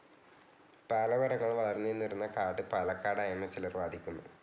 പാല മരങ്ങൾ വളർന്നു നിന്നിരുന്ന കാട്‌ പാലക്കാടായെന്ന് ചിലർ വാദിക്കുന്നു.